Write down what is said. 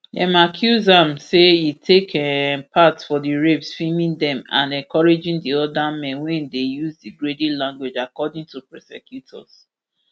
dem accuse am say e take um part for di rapes filming dem and encouraging di oda men wey dey use degrading language according to prosecutors